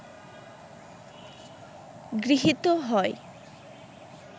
গৃহীত হয়